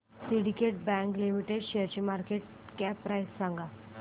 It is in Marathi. सिंडीकेट बँक लिमिटेड शेअरची मार्केट कॅप प्राइस सांगा